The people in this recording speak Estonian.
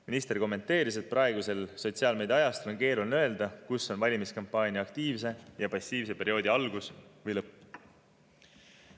Minister kommenteeris, et praegusel sotsiaalmeediaajastul on keeruline öelda, kus on valimiskampaania aktiivse ja passiivse perioodi algus või lõpp.